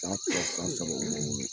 San fila san saba uma wolo